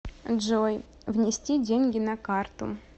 джой внести деньги на карту